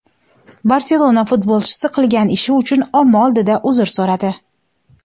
"Barselona" futbolchisi qilgan ishi uchun omma oldida uzr so‘radi.